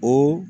O